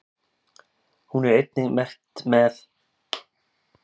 Hún er einnig merkt með??